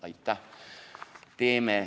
Aitäh!